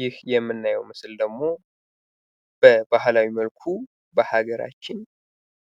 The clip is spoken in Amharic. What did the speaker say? ይህ የምናየው ምስል ደግሞ በባህላዊ መልኩ በሀገራችን